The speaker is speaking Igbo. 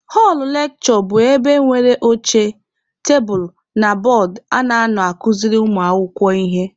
Họlụ lekshure bụ ebe nwere oche, tebulu na bọọdụ a na-anọ akuziri ụmụ akwụkwọ ihe.